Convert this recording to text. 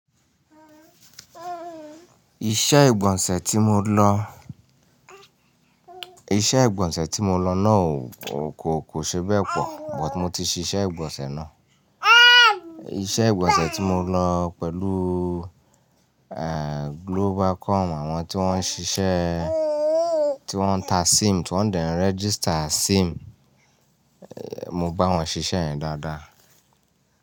Iṣẹ́ ìgbọ̀nsẹ̀ tí mo lọ, iṣẹ́ ìgbọ̀nsẹ̀ tí mo lọ náà kò, kò ṣe bẹ́ẹ̀ pọ̀, but mo ti ṣiṣẹ́ ìgbọ̀nsẹ̀ ná. Iṣẹ́ ìgbọ̀nsẹ̀ tí mo lọ pẹ̀lú, eeh, Globalcom àwọn tí wọ́n ń ṣiṣẹ́, tí wọ́n ń ta sim, tí wọ́n dẹ́ n register sim, mo bá wọn ṣiṣẹ́ yen dáadáa.